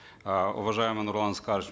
э уважаемый нурлан аскарович